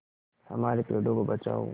हमारे पेड़ों को बचाओ